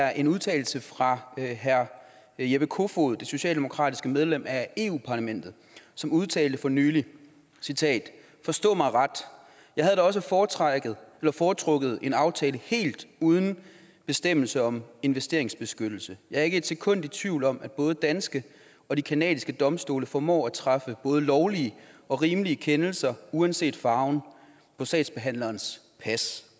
er en udtalelse fra herre jeppe kofod det socialdemokratiske medlem af europa parlamentet som udtalte for nylig forstå mig ret jeg havde da også foretrukket foretrukket en aftale helt uden bestemmelser om investeringsbeskyttelse jeg er ikke ét sekund i tvivl om at både de danske og de canadiske domstole formår at træffe både lovlige og rimelige kendelser uanset farven på sagsparternes pas